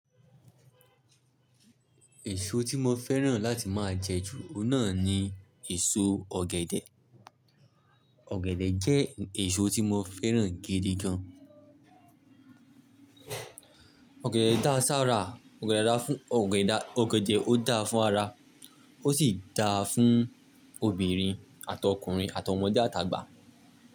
Èso tí mo fẹ́ràn láti máa jẹ jù náà ni èso ọ̀gẹ̀dẹ̀. Ọ̀gẹ̀dẹ̀ jẹ́ èso tí mo fẹ́ràn gidi gan. Ọ̀gẹ̀dẹ̀ dá ṣára, ọ̀gẹ̀dẹ̀ dá fun, ọ̀gẹ̀dẹ̀ ó dá fún ara, ó sì dáa fún obìnrin, àtokùnrin, àtọmọdé, àtàgbà.